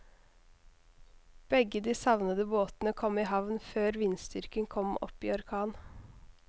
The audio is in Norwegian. Begge de savnede båtene kom i havn før vindstyrken kom opp i orkan.